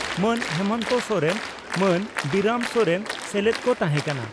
ᱢᱟᱹᱱ ᱦᱮᱢᱚᱱᱛᱚ ᱥᱚᱨᱮᱱ ᱟᱨ ᱵᱤᱨᱟᱹᱢ ᱥᱚᱨᱮᱱ ᱥᱮᱞᱮᱫ ᱠᱚ ᱛᱟᱦᱮᱸ ᱠᱟᱱᱟ ᱾